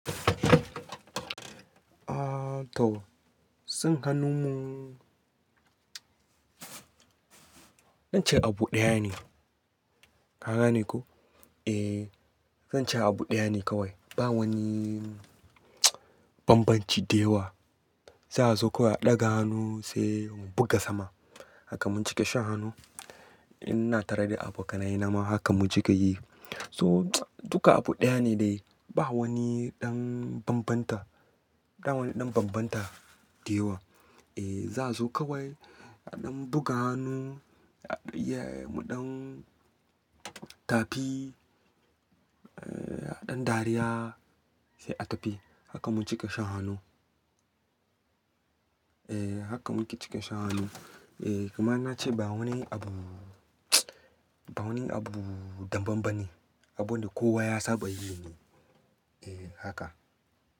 A to, sun hannun mu zan ce abu ɗaya ne. Ka gane ko? Eh, zan ce abu ɗaya ne kawai. Ba wani bambanci da yawa. Za a zo kawai a ɗaga hannu sai mu buga sama. Haka mun cika shan hannu. In ina tare da abokanai, na ma haka mun cika yi. So duka abu ɗaya ne dai. Ba wani ɗan bambanta, ba wani ɗan bambanta da yawa. Eh zaa zo kawai a ɗan buga hannu, a ɗan yi mu ɗan tafi, a ɗan dariya sai a tafi. Haka mun cika shan hannu. Eh haka mun cika shan hannu. Eh kaman na ce ba wani abu, ba wani abu daban-daban ne. Abun da kowa ya saba yin ne. Eh haka.